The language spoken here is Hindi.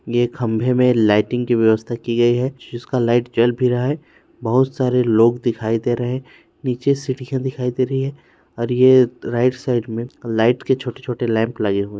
ये खंभे में लाइटिंग की व्यवस्था की गयी है जिसका लाइट जल भी रहा है बहुत सारे लोग दिखाई दे रहे है नीचे सीढ़ियां दिखाई दे रही है और ये राइट साइड में लाइट के छोटे- छोटे लैंप लगे--